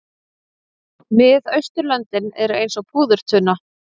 Miðausturlöndin eru eins og púðurtunna.